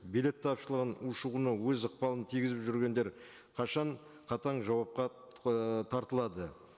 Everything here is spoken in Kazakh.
билет тапшылығын ушығуына өз ықпалын тигізіп жүргендер қашан қатаң жауапқа ыыы тартылады